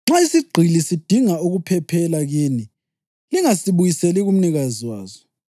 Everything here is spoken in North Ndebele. “Nxa isigqili sidinga ukuphephela kini lingasibuyiseli kumnikazi waso.